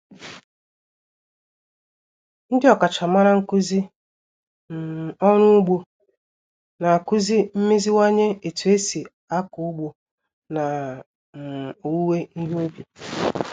Ndị ọkachamara nkuzi um orụ ugbo na-akuzi mmeziwanye etu esi ako ugbo na um owuwe ihe ubi